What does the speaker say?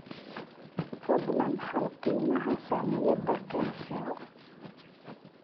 fadlan hel qiimaha saamiyada kencell